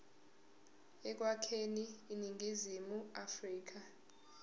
ekwakheni iningizimu afrika